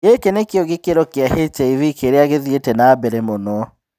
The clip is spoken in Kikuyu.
Gĩkĩ nĩkĩo gĩkĩro kĩa HIV kĩrĩa gĩthiĩte na mbere mũno.